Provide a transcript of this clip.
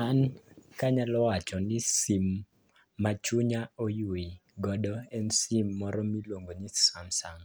An kanyalo wacho ni sim ma chunya oywe godo en sim moro miluongo ni samsung.